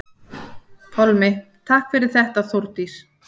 Pálmi: Takk fyrir þetta Þórdís.